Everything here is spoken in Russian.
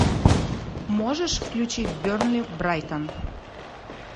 можешь включить бернли брайтон